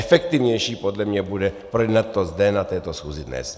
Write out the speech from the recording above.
Efektivnější podle mě bude projednat to zde na této schůzi dnes.